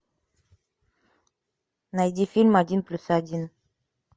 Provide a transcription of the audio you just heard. найди фильм один плюс один